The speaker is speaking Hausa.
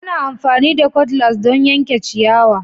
Ana amfani da Cutlass don yanke ciyawa